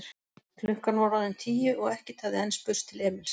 Klukkan var orðin tíu og ekkert hafði enn spurst til Emils.